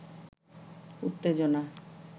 উত্তেজনা